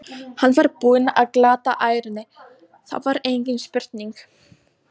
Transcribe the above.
Hann var búinn að glata ærunni, það var engin spurning!